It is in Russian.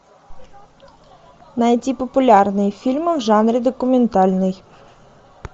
найти популярные фильмы в жанре документальный